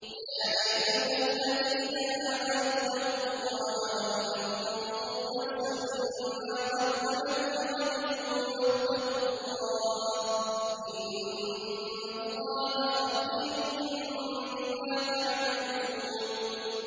يَا أَيُّهَا الَّذِينَ آمَنُوا اتَّقُوا اللَّهَ وَلْتَنظُرْ نَفْسٌ مَّا قَدَّمَتْ لِغَدٍ ۖ وَاتَّقُوا اللَّهَ ۚ إِنَّ اللَّهَ خَبِيرٌ بِمَا تَعْمَلُونَ